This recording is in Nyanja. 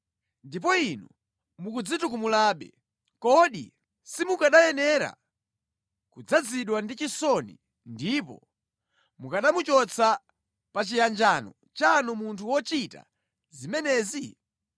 Ndipo inu mukudzitukumulabe. Kodi simukanayenera kudzazidwa ndi chisoni ndipo mukanamuchotsa pa chiyanjano chanu munthu wochita zimenezi?